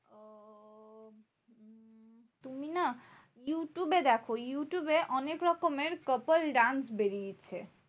তুমি না ইউটিঊবে দেখো। ইউটিঊবে অনেক রকমের couple dance বেরিয়েছে।